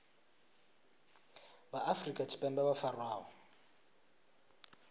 vha afrika tshipembe vho farwaho